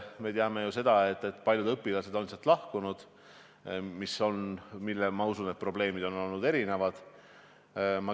Me teame ju, et paljud õpilased on sealt lahkunud, ja ma usun, et probleemid on olnud erinevad.